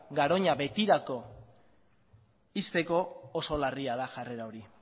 garoña betirako ixteko oso larria da jarrera hori